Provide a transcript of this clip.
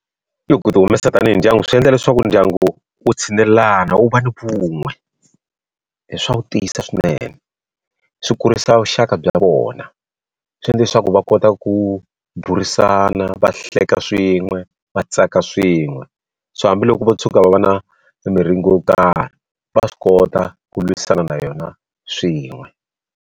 I ku ti humesa tanihi ndyangu swi endla leswaku ndyangu wu tshinelelana, wu va ni vun'we. swa wu tiyisa swinene. swi kurisa vuxaka bya vona, swi endla leswaku va kota ku burisana, va hleka swin'we, va tsaka swin'we. So hambiloko va tshuka va va na miringo yo karhi va swi kota ku lwisana na yona swin'we.